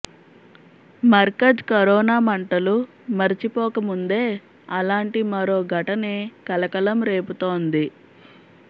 Markaz corona మంటలు మరిచిపోకముందే అలాంటి మరో ఘటనే కలకలం రేపుతోంది